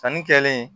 Sanni kɛlen